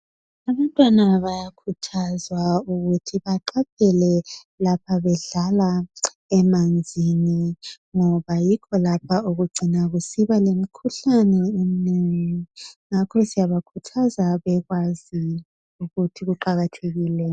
Abantwana bayakhuthazwa ukuthi baqaphele lapha bedlala emanzini ngoba yikho lapho okugcina kusiba lemikhuhlane eminengi ngakho siyabakhuthaza bekwazi ukuthi kuqakathekile